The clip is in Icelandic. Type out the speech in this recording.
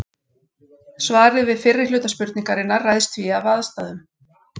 Svarið við fyrri hluta spurningarinnar ræðst því af aðstæðum.